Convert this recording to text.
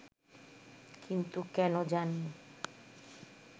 কিন্তু কেন জানি